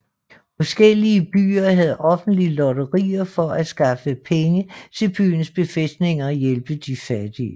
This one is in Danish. Forskellige byer havde offentlige lotterier for at skaffe penge til byens befæstninger og hjælpe de fattige